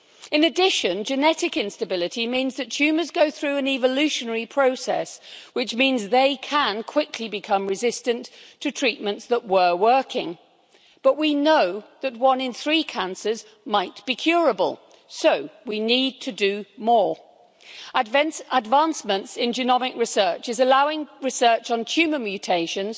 In addition, genetic instability means that tumours go through an evolutionary process which means they can quickly become resistant to treatments that were working. But we know that one in three cancers might be curable, so we need to do more. Advancements in genomic research are allowing research on tumour mutations